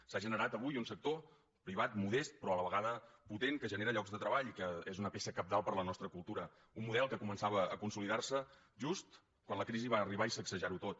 s’ha generat avui un sector privat modest però a la vegada potent que genera llocs de treball i que és una peça cabdal per a la nostra cultura un model que començava a consolidar se just quan la crisi va arribar i sacsejar ho tot